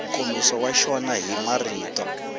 nkomiso wa xona hi marito